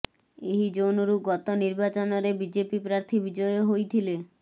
ଏହି ଜୋନରୁ ଗତ ନିର୍ବାଚନରେ ବିଜେପି ପ୍ରାର୍ଥୀ ବିଜୟ ହୋଇ ଥିଲେ